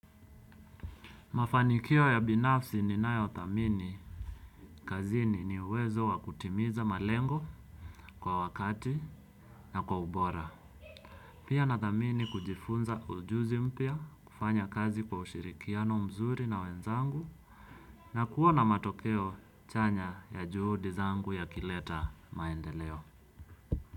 Mafanikio ya binafsi ninayothamini kazini ni uwezo wakutimiza malengo kwa wakati na kwa ubora. Pia nathamini kujifunza ujuzi mpya kufanya kazi kwa ushirikiano mzuri na wenzangu na kuwa na matokeo chanya juhudi zangu yakileta maendeleo.